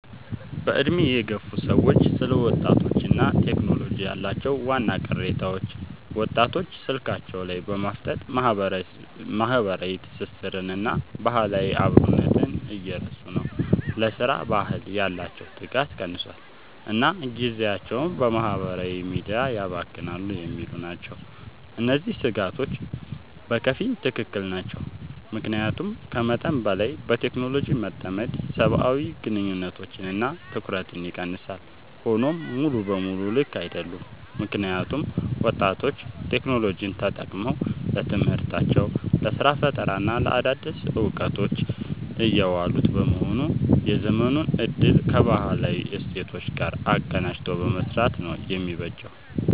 በዕድሜ የገፉ ሰዎች ስለ ወጣቶችና ቴክኖሎጂ ያላቸው ዋና ቅሬታዎች፦ ወጣቶች ስልካቸው ላይ በማፍጠጥ ማህበራዊ ትስስርንና ባህላዊ አብሮነትን እየረሱ ነው: ለሥራ ባህል ያላቸው ትጋት ቀንሷል: እና ጊዜያቸውን በማህበራዊ ሚዲያ ያባክናሉ የሚሉ ናቸው። እነዚህ ስጋቶች በከፊል ትክክል ናቸው። ምክንያቱም ከመጠን በላይ በቴክኖሎጂ መጠመድ ሰብአዊ ግንኙነቶችንና ትኩረትን ይቀንሳል። ሆኖም ሙሉ በሙሉ ልክ አይደሉም: ምክንያቱም ወጣቶች ቴክኖሎጂን ተጠቅመው ለትምህርታቸው: ለስራ ፈጠራና ለአዳዲስ እውቀቶች እያዋሉት በመሆኑ የዘመኑን እድል ከባህላዊ እሴቶች ጋር አቀናጅቶ መምራት ነው የሚበጀው።